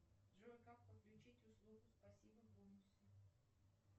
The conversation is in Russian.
джой как подключить услугу спасибо бонусы